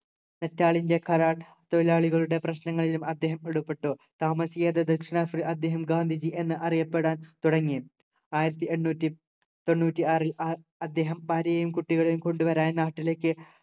Natal തൊഴിലാളികളുടെ പ്രശ്നങ്ങളിലും അദ്ദേഹം ഇടപെട്ടു താമസിയാതെ ദക്ഷിണാഫ്രി അദ്ദേഹം ഗാന്ധിജി എന്ന് അറിയപ്പെടാൻ തുടങ്ങി ആയിരത്തി എണ്ണൂറ്റി തൊണ്ണൂറ്റി ആറിൽ അ അദ്ദേഹം ഭാര്യയെയും കുട്ടികളെയും കൊണ്ടു വരാൻ നാട്ടിലേക്ക്